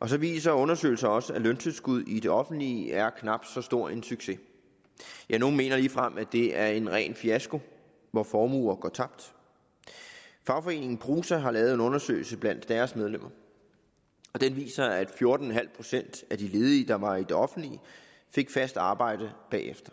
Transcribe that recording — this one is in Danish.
og så viser undersøgelser også at løntilskud i det offentlige er knap så stor en succes ja nogle mener ligefrem at det er en ren fiasko hvor formuer går tabt fagforeningen prosa har lavet en undersøgelse blandt deres medlemmer og den viser at fjorten procent af de ledige der var i det offentlige fik fast arbejde bagefter